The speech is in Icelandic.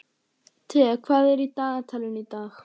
Thea, hvað er í dagatalinu í dag?